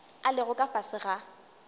a lego ka fase ga